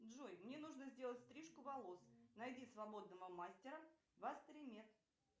джой мне нужно сделать стрижку волос найди свободного мастера в астримед